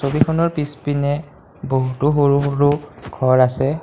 ছবিখনৰ পিছপিনে বহুতো সৰু সৰু ঘৰ আছে।